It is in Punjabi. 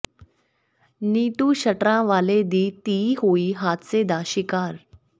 ਨੀਟੂ ਸ਼ਟਰਾਂ ਵਾਲੇ ਦੀ ਧੀ ਹੋਈ ਹਾਦਸੇ ਦਾ ਸ਼ਿਕਾਰ